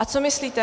A co myslíte?